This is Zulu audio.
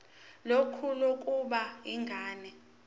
lakho lokubona ingane